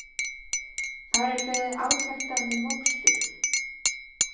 Þar er beðið átekta með mokstur